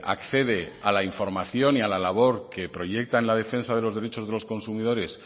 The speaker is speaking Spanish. accede a la información y a la labor que proyecta en la defensa de los derechos de los consumidores